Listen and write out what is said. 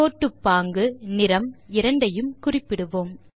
கோட்டுப்பாங்கு நிறம் இரண்டையும் குறிப்பிடுவோம்